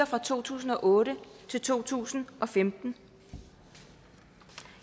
fra to tusind og otte til to tusind og femten